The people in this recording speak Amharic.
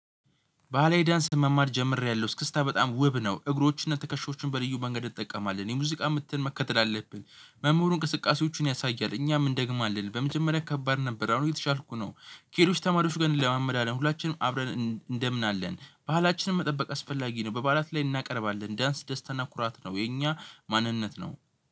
ባህላዊ ዳንስ መማር ጀምሬያለሁ እስክስታ በጣም ውብ ነው። እግሮችንና ትከሻዎችን በልዩ መንገድ እንጠቀማለን የሙዚቃ ምትን መከተል አለብን። መምህሩ እንቅስቃሴዎቹን ያሳያል እኛም እንደግማለን በመጀመሪያ ከባድ ነበር። አሁን እየተሻልኩ ነው። ከሌሎች ተማሪዎች ጋር እንለማመዳለን ሁላችንም አብረን እንደምናለን ባህላችንን መጠበቅ አስፈላጊ ነው። በበዓላት ላይ እናቀርባለን ዳንስ ደስታና ኩራት ነው። የኛ ማንነት ነው።